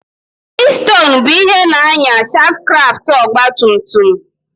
Pistonụ bụ ihe na-ànyà shankkraftụ ọgbatumtum.